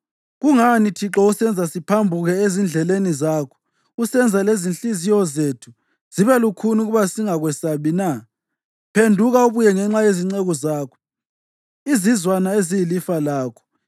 Kungani, Thixo, usenza siphambuke ezindleleni zakho, usenza lezinhliziyo zethu zibe lukhuni ukuba singakwesabi na? Phenduka ubuye ngenxa yezinceku zakho, izizwana eziyilifa lakho.